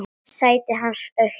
Sætið hans autt.